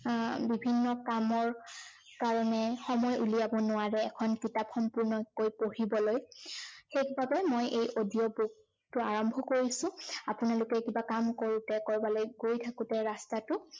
আহ বিভিন্ন কামৰ, কাৰনে সময় উলিয়াব নোৱাৰে এখন কিতাপ সম্পূৰ্ণকৈ পঢ়িবলৈ, সেই বাবে মই এই audio book টো, আৰম্ভ কৰিছো, আপোনালোকে কিবা কাম কৰোতে, কৰবালৈ গৈ থাকোতে ৰাস্তাটো